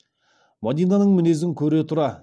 мадинаның мінезін көре тұра